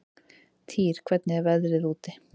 Týr, hvernig er veðrið úti?